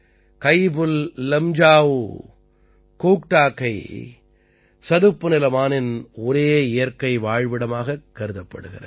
கயிபுல்லம்ஜாஊ கோக்டாக்கை சதுப்புநில மானின் ஒரே இயற்கை வாழ்விடமாகக் கருதப்படுகிறது